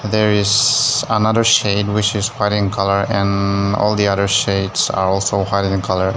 there is another shed which is white in colour and all the other sheds are white in colour.